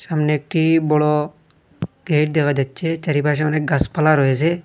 সামনে একটি বড় গেট দেখা যাচ্ছে চারিপাশে অনেক গাসপালা রয়েসে।